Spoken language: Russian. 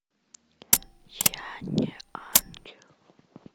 я не ангел